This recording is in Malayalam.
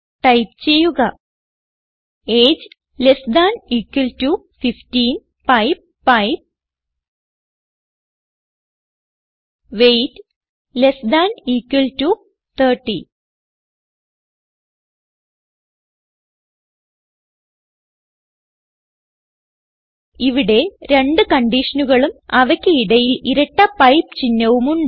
ടൈപ്പ് ചെയ്യുക AGE less than equal to 15 pipe pipe weight less than equal to 30 ഇവിടെ രണ്ട് കൺഡിഷനുകളും അവയ്ക്ക് ഇടയിൽ ഇരട്ട പൈപ്പ് ചിഹ്നവും ഉണ്ട്